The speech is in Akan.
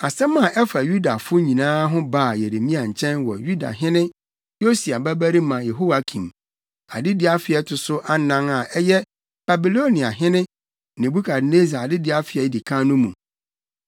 Asɛm a ɛfa Yudafo nyinaa ho baa Yeremia nkyɛn wɔ Yudahene Yosia babarima Yehoiakim adedi afe a ɛto so anan a ɛyɛ Babiloniahene Nebukadnessar adedi afe a edi kan no mu.